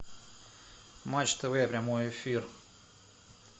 матч тв прямой эфир